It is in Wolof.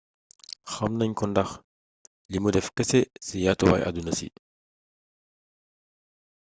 xamnagn ko ndax lii mou deff keese ci yatuway aduna si